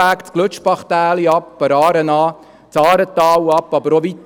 Sie führt das Glütschbachtäli hinunter der Aare entlang und dann durch das Aaretal.